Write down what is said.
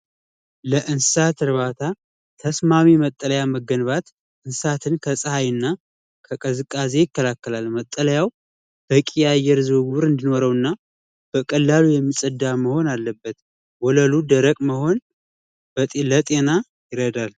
ለእንስሳት እርባታ ተስማሚ መጠለያ መገንባት እንስሳትን ከሀይና ለመጠየቅ ያ እየሩና በቀላሉ የሚፀዳ መሆን አለበት ወለሉ ደረቅ መ ጤና ይረዳል።